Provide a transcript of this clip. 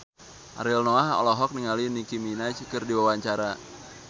Ariel Noah olohok ningali Nicky Minaj keur diwawancara